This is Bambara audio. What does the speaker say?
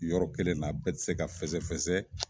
Yɔrɔ kelenna a bi se ka fɛsɛ fɛsɛ